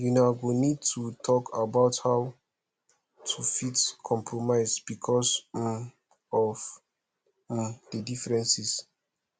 una go need to talk about how to fit compromise because um of um di differences